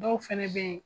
Dɔw fɛnɛ be ye